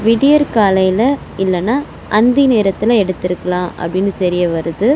விடியற்காலையில இல்லனா அந்தி நேரத்துல எடுத்துருக்கலா அப்டினு தெரிய வருது.